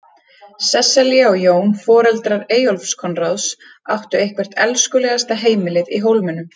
Sesselja og Jón, foreldrar Eyjólfs Konráðs, áttu eitthvert elskulegasta heimilið í Hólminum.